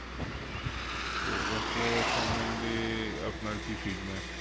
তো ওপো র সমন্ধে আপনার কি feedback?